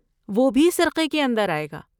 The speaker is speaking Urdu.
وہ بھی سرقے کے اندر آئے گا۔